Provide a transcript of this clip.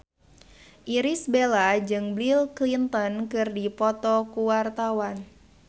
Irish Bella jeung Bill Clinton keur dipoto ku wartawan